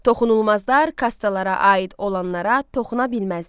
Toxunulmazlar kastlara aid olanlara toxuna bilməzdilər.